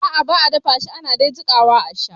A'a ba a dafashi ana de jikawa a sha